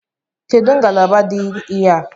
Kedụ ngalaba dị ihe a?